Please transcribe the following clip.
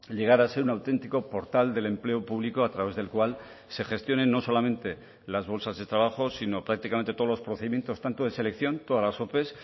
llegar a ser un auténtico portal del empleo público a través del cual se gestionen no solamente las bolsas de trabajo sino prácticamente todos los procedimientos tanto de selección todas las ope